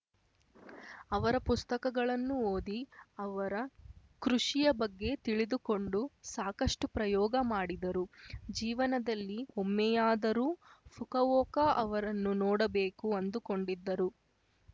ಅವರ ಪುಸ್ತಕಗಳನ್ನು ಓದಿ ಅವರ ಕೃಷಿಯ ಬಗ್ಗೆ ತಿಳಿದುಕೊಂಡು ಸಾಕಷ್ಟುಪ್ರಯೋಗ ಮಾಡಿದರು ಜೀವನದಲ್ಲಿ ಒಮ್ಮೆಯಾದರೂ ಫುಕವೋಕ ಅವರನ್ನು ನೋಡಬೇಕು ಅಂದುಕೊಂಡಿದ್ದರು